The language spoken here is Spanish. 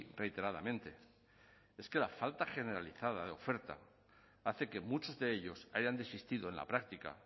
reiteradamente es que la falta generalizada de oferta hace que muchos de ellos hayan desistido en la práctica